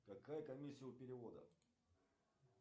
какая комиссия у перевода